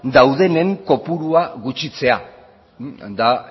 daudenen kopurua gutxitzea da